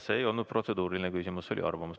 See ei olnud protseduuriline küsimus, see oli arvamus.